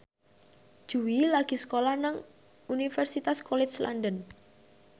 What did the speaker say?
Jui lagi sekolah nang Universitas College London